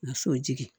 Muso jigin